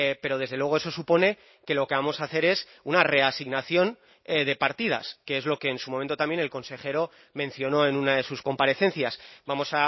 pero desde luego eso supone que lo que vamos a hacer es una reasignación de partidas que es lo que en su momento también el consejero mencionó en una de sus comparecencias vamos